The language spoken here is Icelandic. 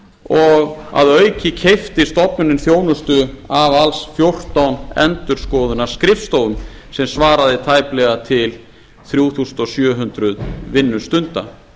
og að auki keypti stofnunin þjónustu af alls fjórtán endurskoðunarskrifstofum sem svaraði tæplega til þrjú þúsund sjö hundruð vinnustunda